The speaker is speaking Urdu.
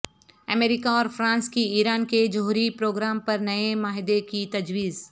امریکہ اور فرانس کی ایران کے جوہری پروگرام پر نئے معاہدے کی تجویز